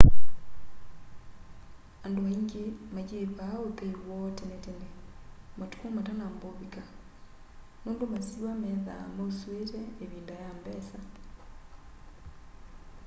andu aingi mayivaa uthei woo tene tene matuko matanamba uvika nundu masiwa methaa mausuite ivinda ya mbesa